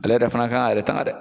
Ale yɛrɛ fana kan k'a yɛrɛ tanga dɛ